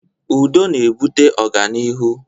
Udo na-ebute ọganihu